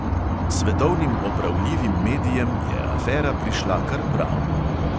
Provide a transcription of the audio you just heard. Svetovnim opravljivim medijem je afera prišla kar prav.